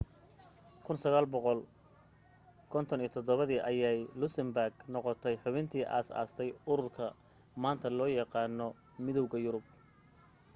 1957 dii ayay luxembourg noqotay xubintii aasaastay ururka maanta loo yaqaano midowga yurub